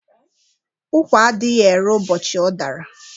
Ụ́kwà adịghị ere ụbọchị ọ dara.